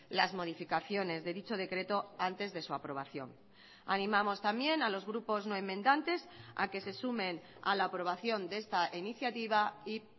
las modificaciones de dicho decreto antes de su aprobación animamos también a los grupos no enmendantes a que se sumen a la aprobación de esta iniciativa y